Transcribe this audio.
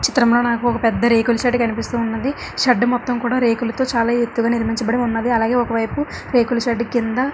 చిత్రం లో నాకు ఒక పెద్ద రేకుల షెడ్ కనిపిస్తూ ఉన్నదీ . షెడ్ మొత్తం కూడా రేకులతో చాలా ఎత్తుగా నిర్మించబడి ఉన్నది. అలాగే ఒక వైపు రేకుల షెడ్ కింద--